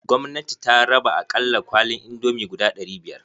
Gwamnati ta raba akalla kwalin indomie guda ɗari biyar.